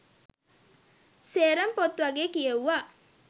සේරම පොත් වගේ කියෙව්වා